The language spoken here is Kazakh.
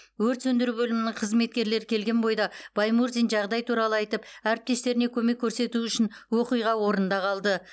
өрт сөндіру бөлімінің қызметкерлері келген бойда баймурзин жағдай туралы айтып әріптестеріне көмек көрсету үшін оқиға орнында қалды